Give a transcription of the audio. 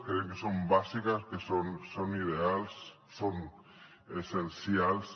creiem que són bàsiques que són ideals són essencials